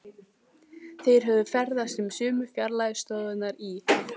Þeir höfðu ferðast um sömu fjarlægu slóðirnar í